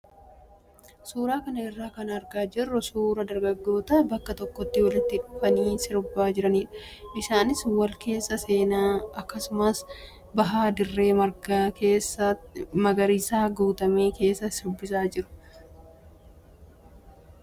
Suuraa kana irraa kan argaa jirru suuraa dargaggoota bakka tokkotti walitti dhufanii sirbaa jiranidha. Isaanis wal keessa seenaa akkasumas bahaa dirree marga magariisaan guutame keessa shubbisaa jiru. Duuba isaaniis dallaa dalga ijaarametu jira.